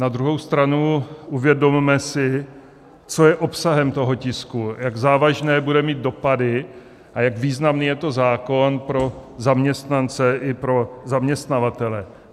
Na druhou stranu, uvědomme si, co je obsahem toho tisku, jak závažné bude mít dopady a jak významný je to zákon pro zaměstnance i pro zaměstnavatele.